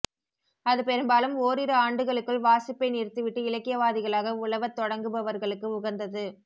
அது பெரும்பாலும் ஓரிரு ஆண்டுகளுக்குள் வாசிப்பை நிறுத்திவிட்டு இலக்கியவாதிகளாக உலவத் தொடங்குபவர்களுக்கு உகந்தது